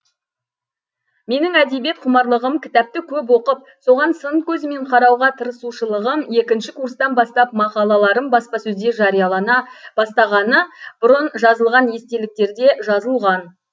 менің әдебиет құмарлығым кітапты көп оқып соған сын көзімен қарауға тырысушылығым екінші курстан бастап мақалаларым баспасөзде жариялана бастағаны бұрын жазылған естеліктерде жазылған